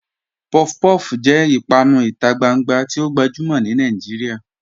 Puff-puff jẹ̀ ìpànù ìtà gbàngbà tì o gbajumọ̀ ni Nàìjíríà